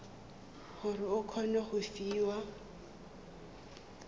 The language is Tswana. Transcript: gore o kgone go fiwa